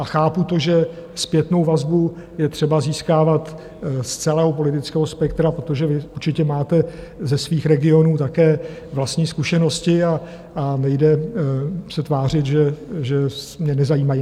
A chápu to, že zpětnou vazbu je třeba získávat z celého politického spektra, protože vy určitě máte ze svých regionů také vlastní zkušenosti a nejde se tvářit, že mě nezajímají.